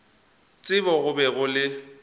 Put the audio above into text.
tsebo go be go le